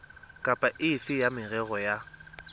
kapa efe ya merero ya